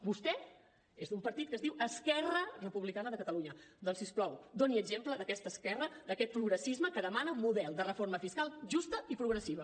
vostè és d’un partit que es diu esquerra republicana de catalunya doncs si us plau doni exemple d’aquesta esquerra d’aquest progressisme que demana un model de reforma fiscal justa i progressiva